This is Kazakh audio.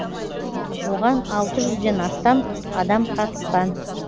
оған алты жүзден астам адам қатысқан